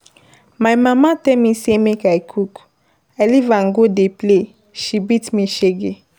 My mama tell me say make I cook, I leave am go dey play. She beat me shege.